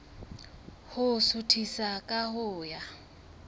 ho suthisa ka ho ya